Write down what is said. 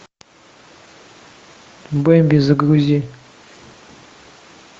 бэби загрузи